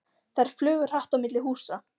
Þær flugu hratt á milli húsa.